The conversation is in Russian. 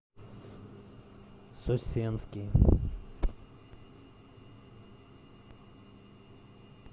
сосенский